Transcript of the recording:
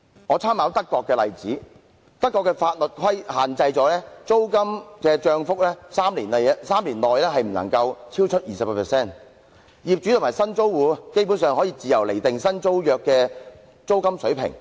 我參考德國的例子，德國的法律限制租金漲幅在3年內不可以超出 20%， 業主和新租戶基本上可以自由釐定新租約的租金水平。